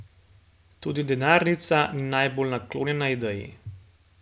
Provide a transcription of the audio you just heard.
Tudi denarnica ni najbolj naklonjena ideji?